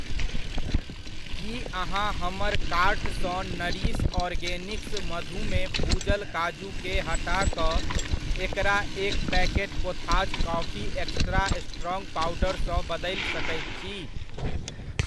की अहाँ हमर कार्ट सँ नरिश ऑर्गेनिक्स मधुमे भुजल काजूकेँ हटा कऽ एकरा एक packet Kotha's coffee extra strong powder सँ बदलि सकैत छी?